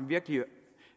virkelig